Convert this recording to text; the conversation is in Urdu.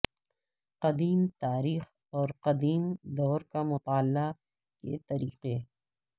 قدیم تاریخ اور قدیم دور کا مطالعہ کے طریقے